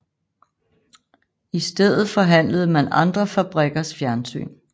I stedet forhandlede man andre fabrikkers fjernsyn